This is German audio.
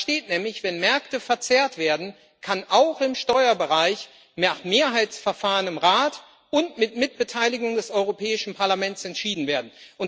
Da steht nämlich Wenn Märkte verzerrt werden, kann auch im Steuerbereich nach Mehrheitsverfahren im Rat und mit Mitbeteiligung des Europäischen Parlaments entschieden werden.